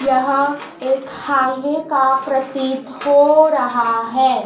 यह एक हाईवे का प्रतीत हो रहा हैं।